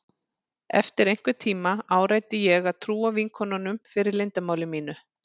Eftir einhvern tíma áræddi ég að trúa vinkonunum fyrir leyndarmáli mínu.